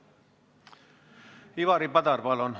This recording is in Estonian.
Ivari Padar, palun!